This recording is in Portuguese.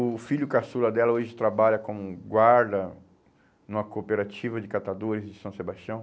O filho caçula dela hoje trabalha como guarda numa cooperativa de catadores de São Sebastião.